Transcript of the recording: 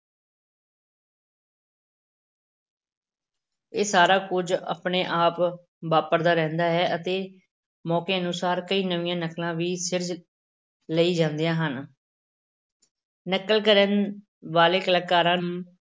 ਇਹ ਸਾਰਾ ਕੁਝ ਆਪਣੇ ਆਪ ਵਾਪਰਦਾ ਰਹਿੰਦਾ ਹੈ ਅਤੇ ਮੌਕੇ ਅਨੁਸਾਰ ਕਈ ਨਵੀਂਆਂ ਨਕਲਾਂ ਵੀ ਸਿਰਜ ਲਈ ਜਾਂਦੀਆਂ ਹਨ ਨਕਲ ਕਰਨ ਵਾਲੇ ਕਲਾਕਾਰਾਂ ਨੂੰ